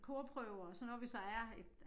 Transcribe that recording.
Korprøve og sådan noget hvis der er et